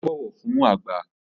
Ó bọ̀wọ̀ fún àgbà